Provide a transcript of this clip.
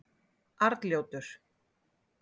Arnljótur